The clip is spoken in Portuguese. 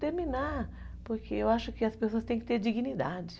terminar, porque eu acho que as pessoas têm que ter dignidade.